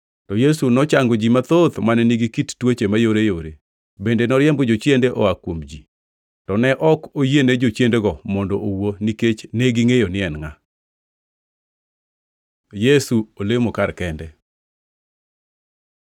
to Yesu nochango ji mathoth mane nigi kit tuoche mayoreyore. Bende noriembo jochiende oa kuom ji, to ne ok oyiene jochiendego mondo owuo nikech negingʼeyo ni en ngʼa. Yesu olemo kar kende